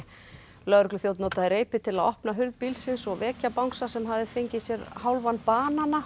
lögregluþjónn notaði reipi til að opna hurð bílsins og vekja bangsa sem hafði fengið sér hálfan banana og